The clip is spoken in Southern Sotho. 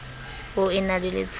o e na le letshollo